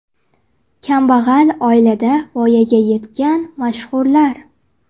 Kambag‘al oilada voyaga yetgan mashhurlar .